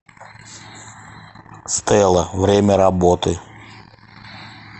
стела время работы